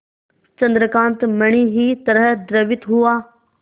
चंद्रकांत मणि ही तरह द्रवित हुआ